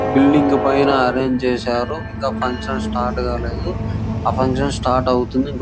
Building పైన arrange చేశారు ఇంకా ఫంక్షన్ స్టార్ట్ కాలేదు ఆ ఫంక్షన్ స్టార్ట్ అయి అవుతుంది.